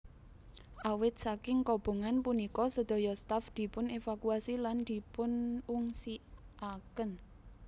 Awit saking kobongan punika sedaya staf dipun evakuasi lan dipunungsiaken